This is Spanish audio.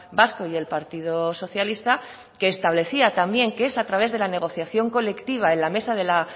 vasco y el partido socialista que establecía también que es a través de la negociación colectiva en la mesa